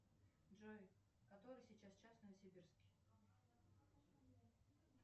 джой который сейчас час в новосибирске